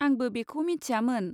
आंबो बेखौ मिथियामोन।